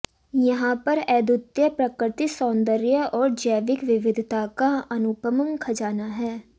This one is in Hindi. यहां पर अद्वितीय प्राकृतिक सौन्दर्य और जैविक विविधिता का अनुपम खजाना है